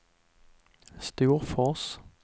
Storfors